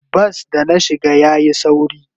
Bas da na shiga yayi sauri.